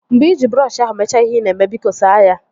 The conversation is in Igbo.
Mgbe iji brọọshi ahụ mechaa ihe ị na-eme, biko saa ya